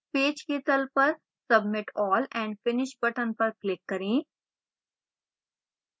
page के तल पर submit all and finish button पर click करें